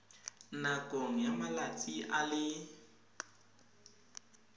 nakong ya malatsi a le